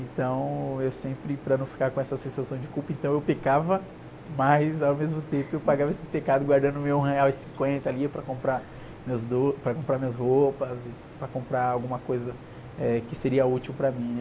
Então eu sempre, para não ficar com essa sensação de culpa, então eu pecava, mas ao mesmo tempo eu pagava esses pecados guardando meu um real e cinquenta ali para comprar meus do, para comprar minhas roupas, e para comprar alguma coisa que seria útil para mim, né?